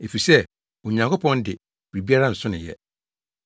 Efisɛ Onyankopɔn de, biribiara nso no yɛ.”